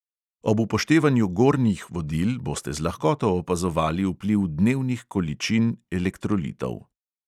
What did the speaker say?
Ob upoštevanju gornjih vodil boste z lahkoto opazovali vpliv dnevnih količin elektrolitov.